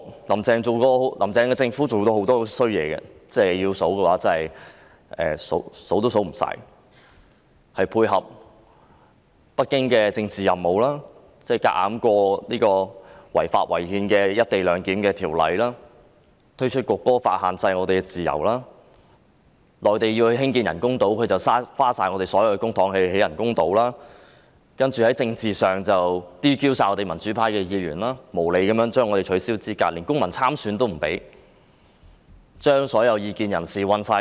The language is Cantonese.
"林鄭"政府過往所做的壞事多不勝數，例如配合北京的政治任務，強行通過違法違憲的《廣深港高鐵條例草案》、推出《中華人民共和國國歌法》限制市民自由、耗盡我們的公帑興建內地屬意的人工島，而在政治上則 "DQ" 多名民主派議員，無理取消他們的資格，連公民參選權亦遭剝奪，又將所有異見人士判監。